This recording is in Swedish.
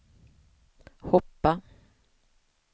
hoppa